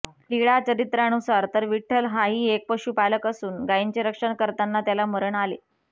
लिळा चरित्रानुसार तर विठ्ठल हाही एक पशुपालक असून गाईंचे रक्षण करताना त्याला मरण आले